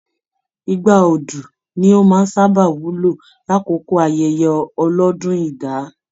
Igbá Odu ní o máa n sábà wúlò l'akoko ayẹyẹ ọlọdún idà.